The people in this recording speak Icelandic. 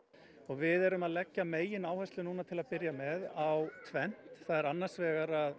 við erum að leggja megináherslu núna til að byrja með á tvennt það er annars vegar